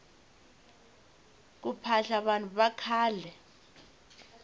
ku phahla vanhu vakhale